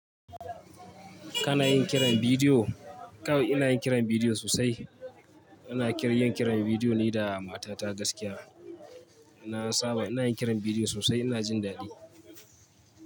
Kana yin kiran bidiyo? Kawai ina yin kiran bidiyo sosai. Ina kir yin kiran bidiyo ne da matata gaskiya. Na saba ina yin kiran bidiyo sosai, ina jin daɗi.